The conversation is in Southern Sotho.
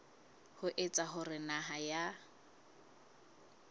ho etsa hore naha ya